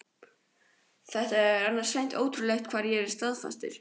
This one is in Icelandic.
Það er annars hreint ótrúlegt hvað ég er staðfastur.